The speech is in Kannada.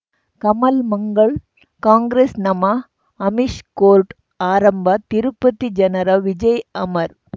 ಕಮಲ್ ಮಂಗಳ್ ಕಾಂಗ್ರೆಸ್ ನಮಃ ಅಮಿಷ್ ಕೋರ್ಟ್ ಆರಂಭ ತಿರುಪತಿ ಜನರ ವಿಜಯ್ ಅಮರ್